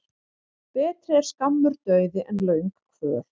Betri er skammur dauði en löng kvöl.